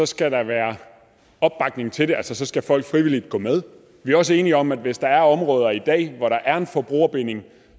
skal der være opbakning til det altså så skal folk frivilligt gå med vi er også enige om at hvis der er områder i dag hvor der er en forbrugerbinding